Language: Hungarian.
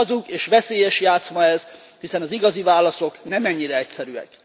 Hazug és veszélyes játszma ez, hiszen az igazi válaszok nem ennyire egyszerűek.